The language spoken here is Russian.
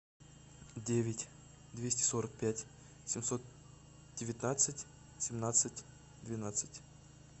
девять двести сорок пять семьсот девятнадцать семнадцать двенадцать